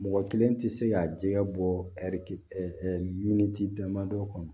Mɔgɔ kelen tɛ se ka jɛgɛ bɔ ɛri miniti damadɔ kɔnɔ